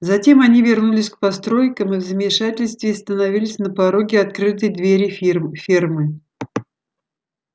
затем они вернулись к постройкам и в замешательстве остановились на пороге открытой двери фермы